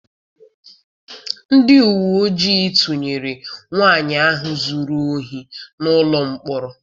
Ndị uwe ojii tụnyere nwaanyị ahụ zụrụ ohi n'ụlọ mkpọrọ.